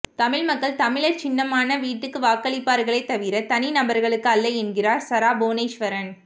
தமிழ் மக்கள் தமிழர் சின்னமான வீட்டுக்கு வாக்களிப்பார்களே தவிர தனி நபர்களுக்கு அல்ல என்கிறார் சரா புவனேஸ்வரன்